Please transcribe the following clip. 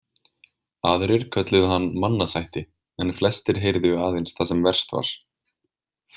Aðrir kölluðu hann mannasætti en flestir heyrðu aðeins það sem verst var.